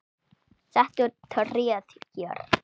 Settu tréð hér.